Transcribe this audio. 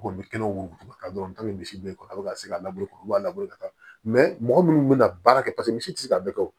Kɔni kɛlen wotoro dɔrɔn ta bɛ misi bo yen kɔni a bɛ ka se ka laburekɔrɔba labɛn ka taa mɔgɔ minnu bɛ na baara kɛ paseke misi tɛ se ka bɛɛ kɛ o